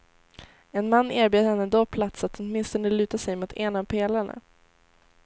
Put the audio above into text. En man erbjöd henne då plats att åtminstone luta sig mot en av pelarna.